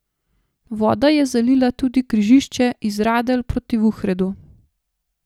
Voda je zalila tudi križišče iz Radelj proti Vuhredu.